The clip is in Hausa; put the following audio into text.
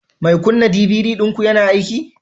Mai kunna DVD ɗinku yana aiki